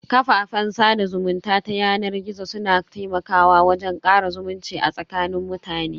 Kafafen sada zumunta ta yanar gizo su na taimakawa wajen kara zumunci a tsakanin mutane.